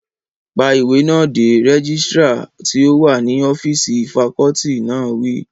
Pa ìwé náà dé! rẹ́gísírà tí ó wà ní ọ́físì fakọọti náà wí